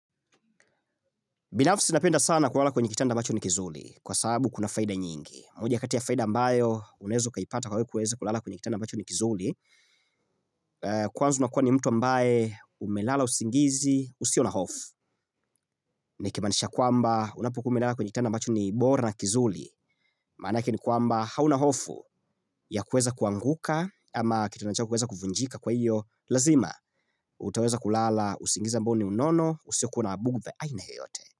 Binafsi napenda sana kulala kwenye kitanda ambacho ni kizuri, kwa sababu kuna faida nyingi. Moja ya kati ya faida ambayo unaeza ukaipata kwa we kuweza kulala kwenye kitanda ambacho ni kizuli. Kwanza unakuwa ni mtu ambaye umelala usingizi, usio na hofu. Nikimaanisha kwamba unapokua umelala kwenye kitanda ambacho ni bora na kizuri. Manake ni kwamba hauna hofu ya kuweza kuanguka ama kitanda chako kuweza kuvunjika kwa hiyo. Lazima, utaweza kulala, usingizi ambao ni unono, usio kua na bugha, aina yeyote.